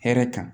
Hɛrɛ kan